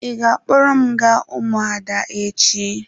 Ị ga-akpọrọ m gaa ụmụada echi.